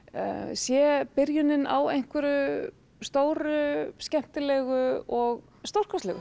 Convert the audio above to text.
sé byrjunin á einhverju stóru skemmtilegu og stórkostlegu